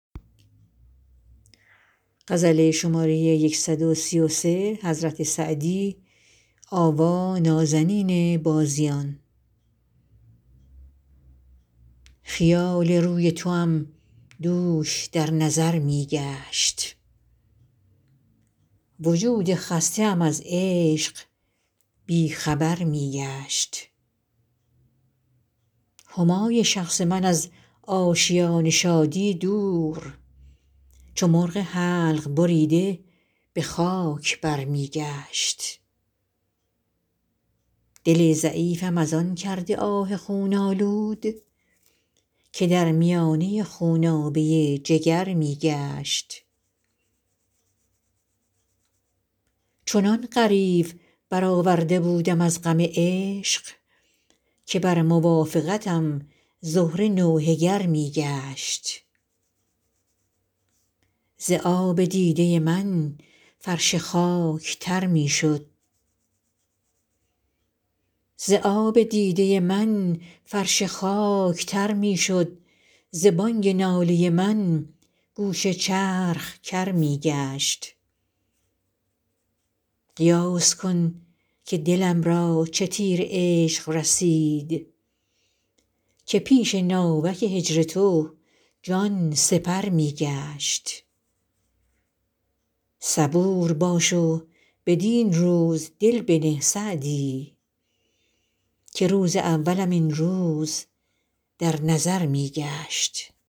خیال روی توام دوش در نظر می گشت وجود خسته ام از عشق بی خبر می گشت همای شخص من از آشیان شادی دور چو مرغ حلق بریده به خاک بر می گشت دل ضعیفم از آن کرد آه خون آلود که در میانه خونابه جگر می گشت چنان غریو برآورده بودم از غم عشق که بر موافقتم زهره نوحه گر می گشت ز آب دیده من فرش خاک تر می شد ز بانگ ناله من گوش چرخ کر می گشت قیاس کن که دلم را چه تیر عشق رسید که پیش ناوک هجر تو جان سپر می گشت صبور باش و بدین روز دل بنه سعدی که روز اولم این روز در نظر می گشت